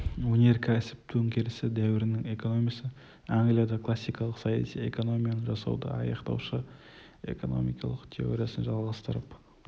өнеркәсіп төңкерісі дәуірінің экономисі англиядағы классикалық саяси экономияны жасауды аяқтаушы экономикалық теориясын жалғастырып